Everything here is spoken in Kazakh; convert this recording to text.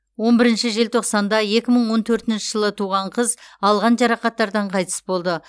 он бірінші желтоқсанда екі мың он төртінші жылы туған қыз алған жарақаттардан қайтыс болды